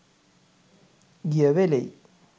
ගිය වෙලෙයි.